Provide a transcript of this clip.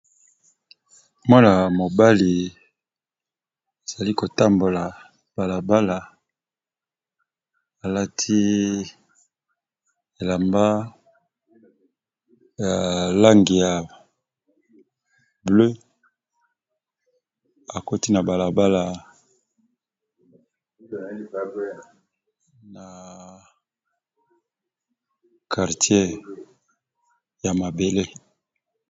mwana mobali azali kotambola balabala alati elamba ya lang ya bleu akoti na balabala na qartier ya mabele